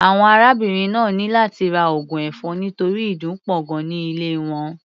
Àwọn arábìnrin náà ní láti ra oògùn ẹ̀fọn nítorí ìdun pọ̀ gan-an ní ilé wọn.